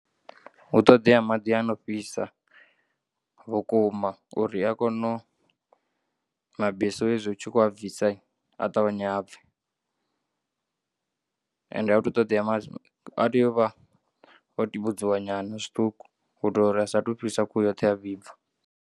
Hu ṱoḓea maḓi ano fhisa vhukuma uri a kone mabesu hezwi utshi kho abvisa a ṱavhanye abve and ahuthu ṱoḓea maḓu a tea uvha o tuvdziwa nyana zwiṱuku uitela uri asatu fhisa khuhu yoṱhe a vhibva.